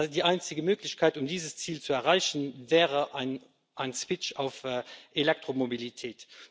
Die einzige Möglichkeit, um dieses Ziel zu erreichen, wäre ein Switch auf Elektromobilität.